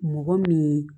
Mɔgɔ min ye